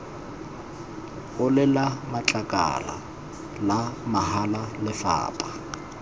olela matlakala la mahala lefapha